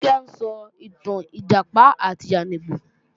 Kíkẹ́ ń sọ ìtàn Ìjàpá àti yáníbo